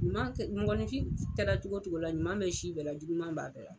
Ɲuman kɛ mɔgɔnifin kɛra cogo o cogo la ɲuman bɛ si bɛɛ la juguman b'a bɛɛ la.